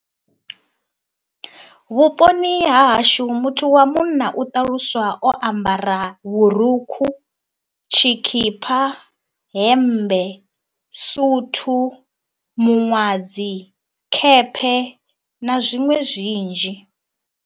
Vhuponi ha hashu muthu wa munna u ṱaluswa o ambara vhurukhu, tshikhipha, hemmbe, suthu, miṅwadzi, khephe na zwiṅwe zwinzhi.